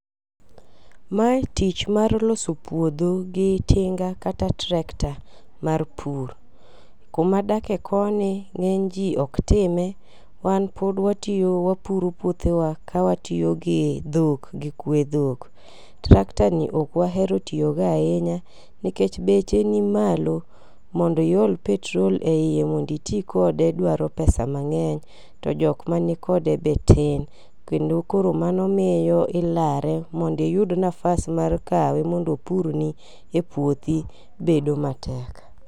Mae tich mar loso puodho gi tinga kata tractor mar pur . Kuma adake koni ng'eny ji ok time wan pod watiyo wapuro puothewa ka watiyo gi dhok gi kwe dhok. Tractor ni ok wahero tiyogo ahinya nikech beche ni malo, mondo iol petrol e ie mondo iti kode dwaro pesa mang'eny, to jok mani kode be tin. Kendo koro mano miyo ilare, mondo iyud nafas mar kawe mondo opurni epuothi bedo matek.